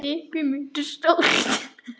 Af hverju spyrðu, Ragnar minn?